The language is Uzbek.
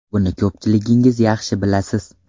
Buni ko‘pchiligingiz yaxshi bilasiz.